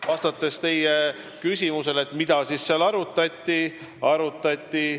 Vastan teie küsimusele, mida seal siis arutati.